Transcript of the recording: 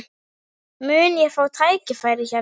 Mun ég fá tækifæri hérna?